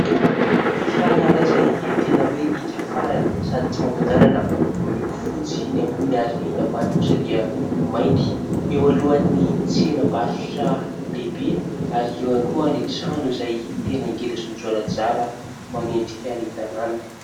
Fiara iray izay tena hoe hiaka farany sady tsy mataho-dalana miloko fotsy ny ambony ary ny ambany kosa dia mainty. Eo alohan'ny tsenam-barotra lehibe ary eo ihany koa ny trano izay tena ngeda sy mijoalajoala manendrika ny tanàna.